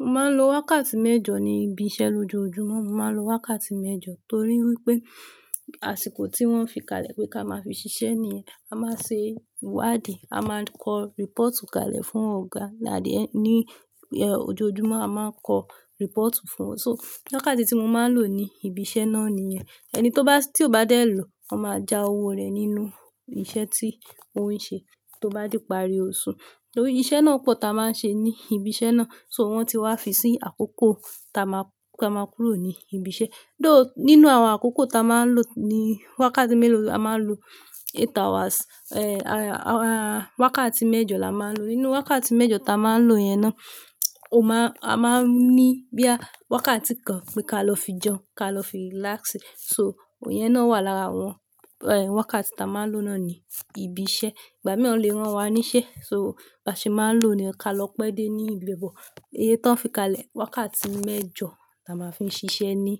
Mo máa ń lo wákàtí mẹ́jọ ní ibi iṣẹ́ lójoojúmọ́, mo máa ń lo wákàtí mẹ́jọ torí wípé àsìkò tí wọ́n fi kalẹ̀ pé ká máa fi ṣiṣẹ́ nìyẹn. A máa ṣe ìwádìí, a máa ń kọ report kalẹ̀ fún ọ̀gá láàdíẹ̀ ní ojojúmọ́ a máa ń kọ report fún. So wákàtí tí mo máa ń lò ní ibi iṣẹ́ náà nìyẹn. Ẹni tó bá, tí kò bá dé lọ, wọ́n máa ja owó rẹ̀ nínú iṣẹ́ tí ó ń ṣe tó bá di parí oṣù. Torí iṣẹ́ náà pọ̀ ta máa ń ṣe ní ibi iṣẹ́ náà, so wọ́n ti wá fi sí àkókò ta máa, tá máa kúrò ní ibi iṣẹ́. Though nínú àwọn àkókò ta máa ń lò ní wákàtí mélòó a máa ń lo eight hours, wákàtí mẹ́jọ la máa ń lò. Nínú wákàtí mẹ́jọ ta máa ń lò yẹn ná, o máa, a máa ń ní bíà wákàtí kan pé ká lọ fi jẹun, ká lọ fi relax. So ìyẹn ná wà lára àwọn wákàtí tá máa ń lò nani ibiṣẹ́. Ìgbà mìí wọ́n lè rán wa níṣẹ́, so bá ṣe máa ń lò ni ká lọ pé dé ní ibibe bọ̀. Iye tó ń fi kalẹ̀, wákàtí mẹ́jọ là máa ń fi ṣiṣẹ́ ní